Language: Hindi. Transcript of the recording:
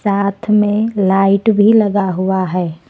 साथ में लाइट भी लगा हुआ है।